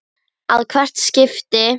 að hvert skipti.